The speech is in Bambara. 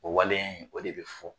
O waleya in, o de bi fɔ.